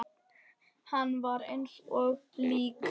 Hann var eins og lík.